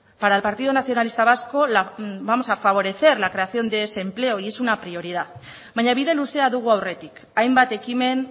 para el partido nacionalista vasco vamos a favorecer la creación de ese empleo y es una prioridad baina bide luzea dugu aurretik hainbat ekimen